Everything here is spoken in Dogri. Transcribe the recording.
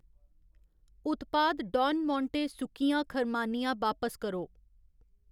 उत्पाद डॉन मोंटे सुक्कियां खरमानियां बापस करो